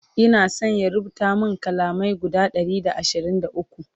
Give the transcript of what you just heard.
Ina San ya rubuta min kalamai guda Ɗari da ashirin da ukwu